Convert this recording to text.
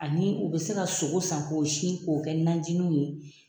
Ani u bɛ se ka sogo san k'o sin k'o kɛ najininw ye.